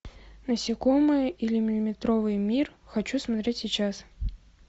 насекомые или миллиметровый мир хочу смотреть сейчас